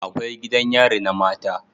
Akwai gidan yari na mata